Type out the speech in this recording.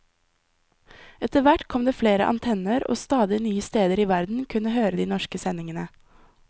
Etterhvert kom det flere antenner, og stadig nye steder i verden kunne høre de norske sendingene.